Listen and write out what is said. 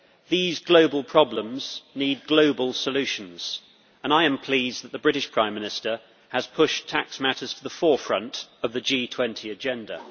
These global problems need global solutions, and I am pleased that the British Prime Minister has pushed tax matters to the forefront of the G20 agenda.